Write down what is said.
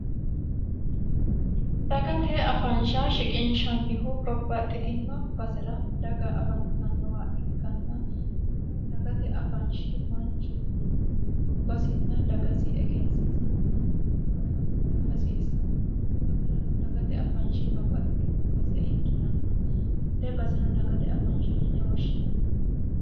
dagate afansha shiqinshannihu babbaxxitino basera daga afantannowa ikkanna kunno dagate afanshi manchu gobbasinna dagasi egensiisanna wolewo kula hasiissanno kunnirano dagate afanshi babbaxxitinno base ikkitanna hattee baseno dagate afansha yine woshshinanno